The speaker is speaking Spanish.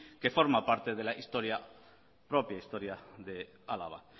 que forman parte de la propia historia de álava